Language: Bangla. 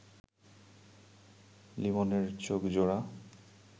লিমনের চোখজোড়া